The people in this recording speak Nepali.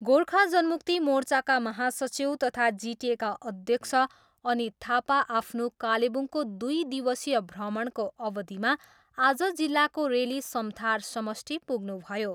गोर्खा जनमुक्ति मोर्चाका महासचिव तथा जिटिएका अध्यक्ष अनित थापा आफ्नो कालेबुङको दुई दिवसीय भ्रमणको अवधिमा आज जिल्लाको रेली समथार समष्टि पुग्नुभयो।